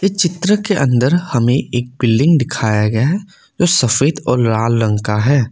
इ चित्र के अंदर हमें एक बिल्डिंग दिखाया गया हैजो सफेद और लाल रंग का है।